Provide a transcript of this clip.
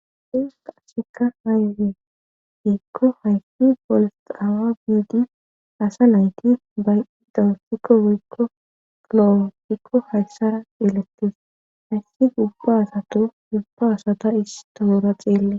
I qassheka hayude iikko haysfi polsaawa biidi asa nayti bay'i dawasikko woykko klowo pikko hayssara elettes hayssi ubba asato dubba asata istoora xeelle,